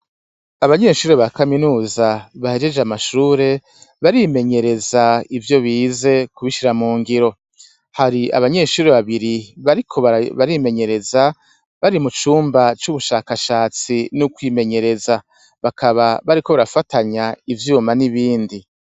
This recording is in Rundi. Abanyeshure ba kaminuza bahejeje amashure barimenyereza ivyo bize kubishira mu ngiro. Hari abanyeshure babiri bariko barimenyereza bari mu cumba c'ubushakashatsi n'ukwimenyereza. Bakaba bariko barafatanya ivyuma n'ibindi.